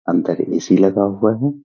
अंदर ए.सी. लगा हुआ है।